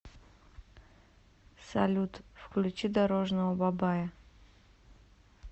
салют включи дорожного бабая